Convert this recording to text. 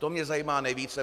To mě zajímá nejvíce.